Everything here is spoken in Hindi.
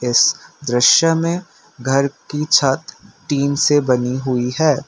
इस दृश्य में घर की छत टीन से बनी हुई है।